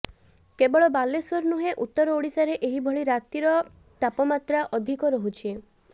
କେବଳ ବାଲେଶ୍ବର ନୁହେଁ ଉତ୍ତର ଓଡ଼ିଶାରେ ଏହିଭଳି ରାତିର ତାପମାତ୍ରା ଅଧିକ ରହୁଛି